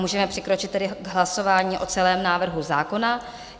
Můžeme přikročit tedy k hlasování o celém návrhu zákona.